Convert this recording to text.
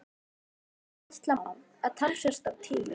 Ætla má, að talsvert af tíma